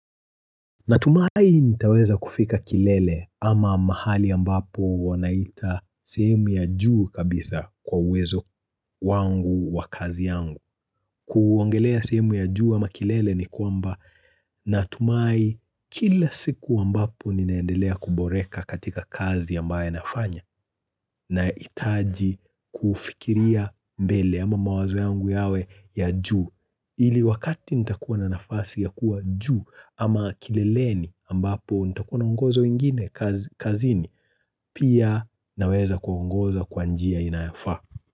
Natumai nitaweza kufika kilele ama mahali ambapo wanaita sehemu ya juu kabisa kwa uwezo wangu wa kazi yangu. Kuongelea sehemu ya juu ama kilele ni kwamba natumai kila siku ambapo ninaendelea kuboreka katika kazi ambaye nafanya. Na itaji kufikiria mbele ama mawazo yangu yawe ya juu. Ili wakati nitakuwa na nafasi ya kuwa juu ama kileleni ambapo nitakuwa na ungozo ingine kazini pia naweza kuwa ngozo kwa njia inayafa.